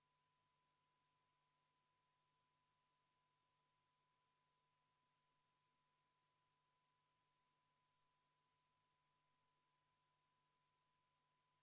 V a h e a e g Head kolleegid, vaheaeg on läbi.